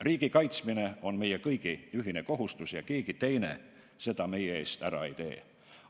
Riigi kaitsmine on meie kõigi ühine kohustus ja keegi teine seda meie eest ära ei tee.